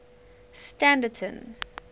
standerton